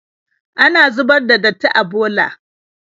Ana zubar da datti a bola.